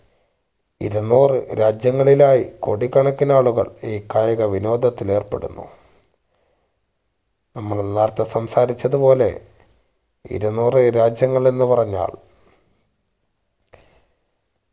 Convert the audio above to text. ഇരുന്നൂർ രാജ്യങ്ങളിലായി കോടിക്കണക്കിന് ആളുകൾ ഈ കായികവിനോദത്തിന് ഏർപ്പെടുന്നു നമ്മള് നേരെത്തെ സംസാരിച്ചത്പോലെ ഇരുന്നൂറ് രാജ്യങ്ങളെന്ന് പറഞ്ഞാൽ